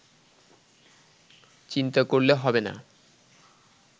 চিন্তা করলে হবেনা